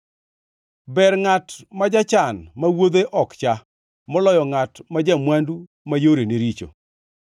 Ber ngʼat ma jachan ma wuodhe ok cha, moloyo ngʼat ma ja-mwandu ma yorene richo.